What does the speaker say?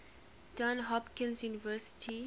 johns hopkins university